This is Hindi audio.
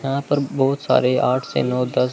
यहां पर बहुत सारे आठ से नौ दस--